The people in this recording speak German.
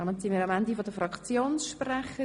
Damit sind wir am Ende der Fraktionssprecher.